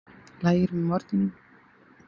Lægir með morgninum